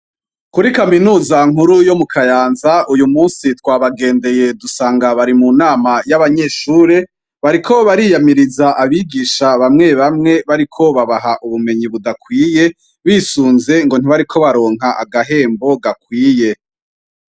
Kuri kaminuza nkuru yo mu kayanza uyu musi twabagendeye dusanga bari mu nama y'abanyeshure bariko bariyamiriza abigisha bamwe bamwe bariko babaha ubumenyi budakwiye bisunze ngo ntibariko baronka agahembo gakwiye.